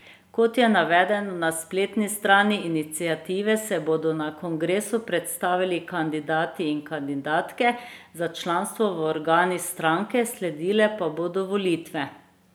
Kot je navedeno na spletni strani iniciative, se bodo nato kongresu predstavili kandidati in kandidatke za članstvo v organih stranke, sledile pa bodo volitve.